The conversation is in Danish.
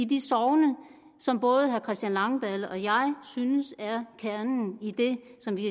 de sogne som både herre christian langballe og jeg synes er kernen i det som vi